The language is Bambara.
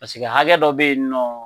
Paseke hakɛ dɔ bɛ yen nɔ,